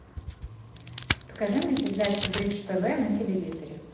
покажи мне передачу бридж тв на телевизоре